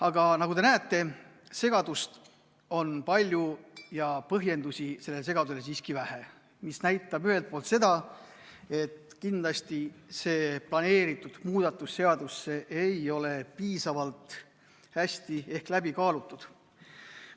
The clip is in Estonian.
Aga nagu te näete, segadust on palju ja põhjendusi sellele segadusele siiski vähe, mis näitab ühelt poolt seda, et kindlasti see planeeritud seadusemuudatus ei ole piisavalt hästi läbi kaalutud.